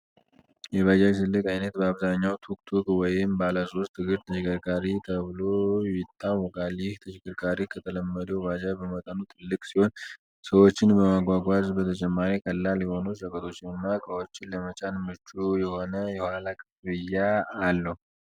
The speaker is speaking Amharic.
የባጃጅ ትልቁ ዓይነት በአብዛኛው "ቱክ-ቱክ" ወይም "ባለ ሶስት እግር ተሽከርካሪ" ተብሎ ይታወቃል። ይህ ተሽከርካሪ ከተለመደው ባጃጅ በመጠኑ ትልቅ ሲሆን፣ ሰዎችን ከማጓጓዝ በተጨማሪ ቀላል የሆኑ ሸቀጦችንና እቃዎችን ለመጫን ምቹ የሆነ የኋላ ክፍያ አለው።